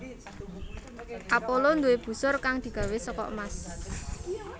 Apollo duwé busur kang digawé saka emas